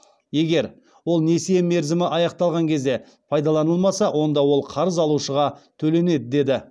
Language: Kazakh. егер ол несие мерзімі аяқталған кезде пайдаланылмаса онда ол қарыз алушыға төленеді деді